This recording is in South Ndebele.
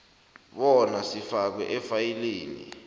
bona sifakwe efayilini